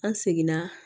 An seginna